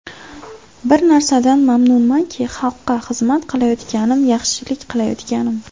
Bir narsadan mamnunmanki, xalqqa xizmat qilayotganim, yaxshilik qilayotganim.